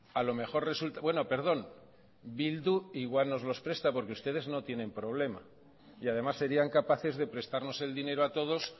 a lo mejor resulta bueno perdón bildu igual nos los presta porque ustedes no tienen problema y además serían capaces de prestarnos el dinero a todos